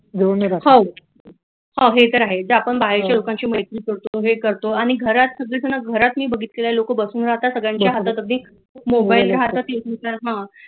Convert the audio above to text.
हे तर आहेच की आपण बाहेरच्या लोकांशी मैत्री करतो हे करतो आणि घरात सगळी जण मी बघितलेल आहे लोक बसून राहतात सगळ्यांच्या हातात अगदी मोबाइल राहतात युट्युब